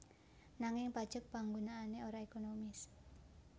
Nanging pajek panggunaané ora ekonomis